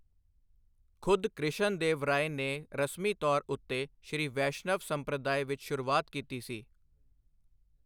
ਖੁਦ ਕ੍ਰਿਸ਼ਨ ਦੇਵ ਰਾਏ ਨੇ ਰਸਮੀ ਤੌਰ ਉੱਤੇ ਸ੍ਰੀ ਵੈਸ਼ਨਵ ਸੰਪ੍ਰਦਾਏ ਵਿੱਚ ਸ਼ੁਰੂਆਤ ਕੀਤੀ ਸੀ।